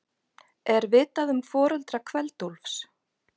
Er vitað um foreldra Kveld-Úlfs?